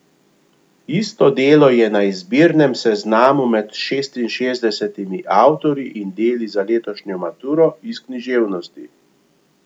Isto delo je na izbirnem seznamu med šestinšestdesetimi avtorji in deli za letošnjo maturo iz književnosti.